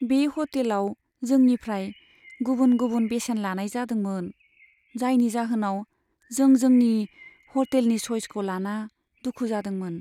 बे ह'टेलाव जोंनिफ्राय गुबुन गुबुन बेसेन लानाय जादोंमोन, जायनि जाहोनाव जों जोंनि ह'टेलनि सइसखौ लाना दुखु जादोंमोन।